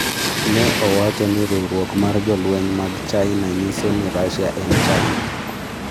Ne owacho ni riwruok mar jolweny mag china nyiso ni Russia en China